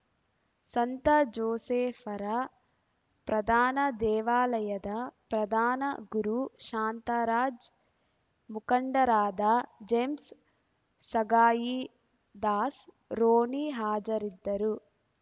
ಸಂತ ಜೋಸೇಫರ ಪ್ರಧಾನ ದೇವಾಲಯದ ಪ್ರಧಾನ ಗುರು ಶಾಂತರಾಜ್‌ ಮುಖಂಡರಾದ ಜೇಮ್ಸ್‌ ಸಗಾಯಿ ದಾಸ್‌ರೋನಿ ಹಾಜರಿದ್ದರು